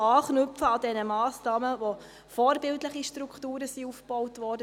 Wir können an den Massnahmen anknüpfen, durch die vorbildliche Strukturen aufgebaut wurden.